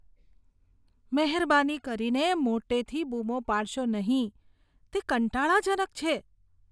મહેરબાની કરીને મોટેથી બૂમો પાડશો નહીં, તે કંટાળાજનક છે.